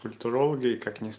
культурология